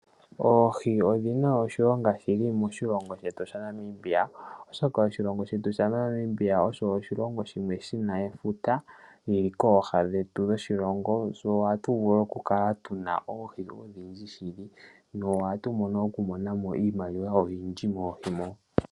Oohi odhina oshilonga shili moshilongo shetu sha Namibia oshoka oshilongo shetu sha Namibia osho oshilongo shimwe shina efuta lyili kooha dhoshilongo. Ohatu vulu oku kala tuna oohi odhindji shili nohatu vulu oku monamo iimaliwa oyindji moohi mo.